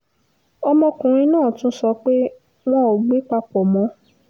ọmọkùnrin náà tún sọ pé wọn ò gbé papọ̀ mọ́